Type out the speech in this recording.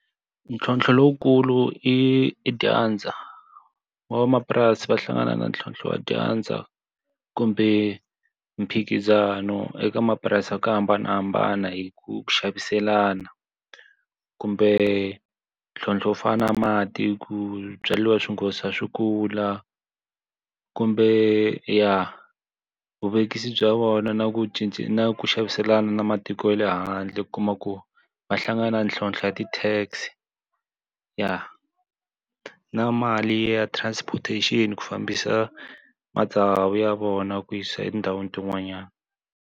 Ntlhontlho lowukulu i i dyandza. Van'wamapurasi va hlangana na ntlhontlho wa dyandza kumbe mphikizano eka mapurasi ya ku hambanahambana hi ku xaviselana. Kumbe ntlhontlho wo fana na mati ku swibyariwa swi nghotlisa swi kula. Kumbe ya, vuvekisi bya vona na ku na ku xaviselana na matiko ya le handle ku kuma ku va hlangana ntlhontlho ya ti-tax ya. Na mali ya transportation ku fambisa matsavu ya vona ku yisa etindhawini tin'wanyana.